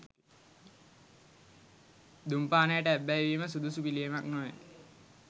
දුම්පානයට ඇබ්බැහිවීම සුදුසු පිළියමක් නොවේ.